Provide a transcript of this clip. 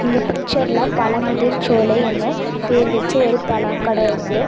இந்த பிச்சர்ல பழமுதிர் சோலை ன்னு பேர் வெச்சி ஒரு பழம் கட இருக்கு.